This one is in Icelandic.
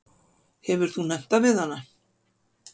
Hefurðu nefnt það við hana?